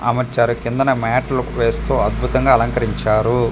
ఆమొచ్చారు కిందన mat look వేస్తూ అద్భుతంగా అలంకరించారు.